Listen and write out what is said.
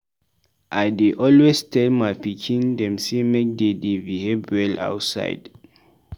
I dey always tell my pikin dem sey make dey dey behave well outside.